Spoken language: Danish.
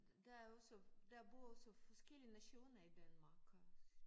Der er også der bor også forskellige nationer i Danmark